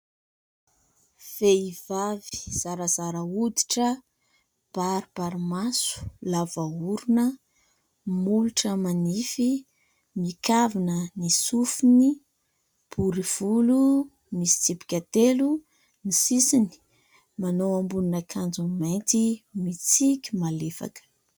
Vehivavy zarazara hoditra, baribarimaso, lava orona, molotra manify, mikavina ny sofiny, bory volo, misy tsipika telo ny sisiny ; manao ambonin'akanjo mainty ; mitsiky malefaka.